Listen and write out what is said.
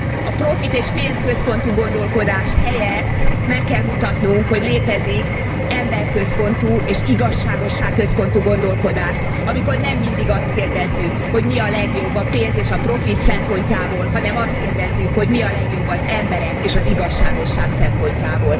A profit és pénzközpontú gondolkodás helyett meg kell mutatnunk, hogy létezik emberközpontú és igazságosságközpontú gondolkodás, amikor nem mindig azt kérdezzük, hogy mi a legjobb a pénz és a profit szempontjából, hanem azt kérdezzük, hogy mi a legjobb az emberek és az igazságosság szempontjából.